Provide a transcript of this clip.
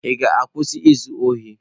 Ị ga-akwụsị izu ohi?